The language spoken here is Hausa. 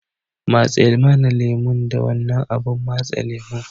matse mana lemo da wannan abun matse lemon